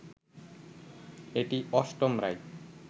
এটি অষ্টম রায়